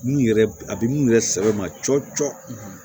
Mun yɛrɛ a bɛ mun yɛrɛ sɛbɛ ma cɔcɔ